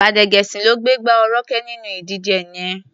Gbádégẹṣin ló gbégbá orókè nínú ìdíje yẹn.